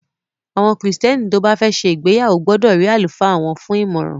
Àwọn Kristẹni tó bá fẹ́ ṣe ìgbéyàwó gbọdọ̀ rí àlùfáà wọ́n fún ìmọràn.